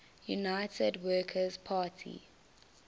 united workers party